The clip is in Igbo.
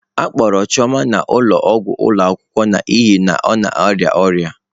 A kpọgara Chioma n'ụlọọgwụ ụlọ akwụkwọ n'ihi na ọ na-arịa ọrịa.